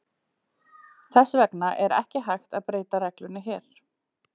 Þess vegna er ekki hægt að beita reglunni hér.